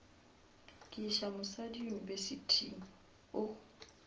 ke iša mosadi yunibesithing o